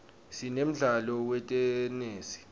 sinemdlalo wetenesi